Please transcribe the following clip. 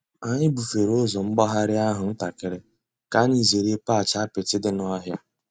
Ányị́ búfèré ụ́zọ́ m̀gbàghàrị́ àhú́ ǹtàkị́rị́ kà ányị́ zèéré patch àpịtị́ dị́ n'ọ̀hị́à.